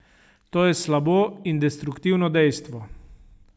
To je slabo in destruktivno dejstvo.